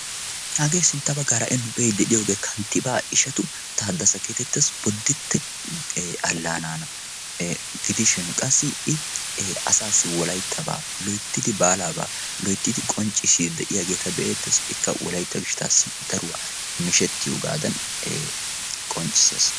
hagee sintta baggara ha'i nu be'iddi de7iyoogee kanttibaa ishatu ta addasa keetettassi bodditti allaanaana gidishin qassi i asaassi wolayttabaa loittidi baalaabaa loyttidi qonccisidi de'iyaageeta be'ettees ikka wolaitta gishttaassi daruwaa mishettiyoogaadan qonccissaas